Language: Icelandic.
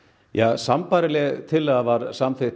sambærileg tillaga var samþykkt